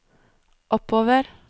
oppover